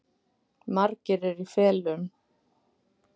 Margir eru í felum